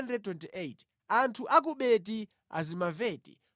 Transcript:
Anthu a ku Beti-Azimaveti 42